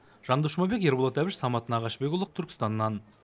жандос жұмабек ерболат әбіш самат нағашыбекұлы түркістаннан